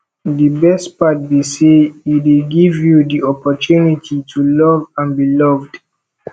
di best part be say e dey give you di opportunity to love and be loved